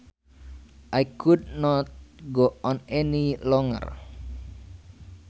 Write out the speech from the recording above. I could not go on any longer